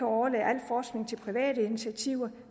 overlade al forskning til private initiativer